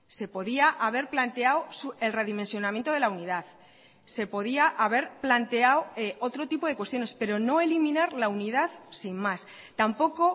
se podía haber planteado el redimensionamiento de la unidad se podía haber planteado otro tipo de cuestiones pero no eliminar la unidad sin más tampoco